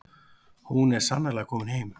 Hún er sannarlega komin heim.